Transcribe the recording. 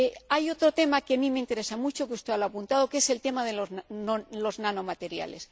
Hay otro tema, que a mí me interesa mucho y que usted ha apuntado, que es el tema de los nanomateriales.